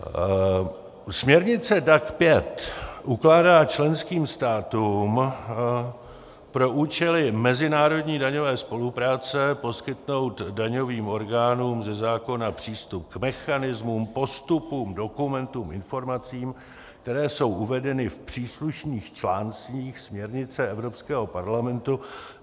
Směrnice DAC 5 ukládá členským státům pro účely mezinárodní daňové spolupráce poskytnout daňovým orgánům ze zákona přístup k mechanismům, postupům, dokumentům, informacím, které jsou uvedeny v příslušných článcích směrnice Evropského parlamentu.